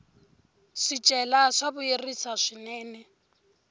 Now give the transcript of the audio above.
swicelwa swa vuyerisa swinene